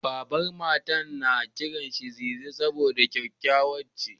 Babar Matar na kiranta Ziza saboda kyakkyawa ce.